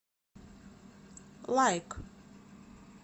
лайк